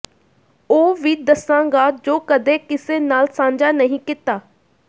ਉਹ ਵੀ ਦੱਸਾਂਗਾਂ ਜੋ ਕਦੇ ਕਿਸੇ ਨਾਲ ਸਾਂਝਾ ਨਹੀਂ ਕੀਤਾ